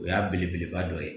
O y'a belebeleba dɔ ye